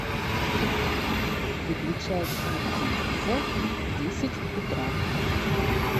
выключай звук телевизор в десять утра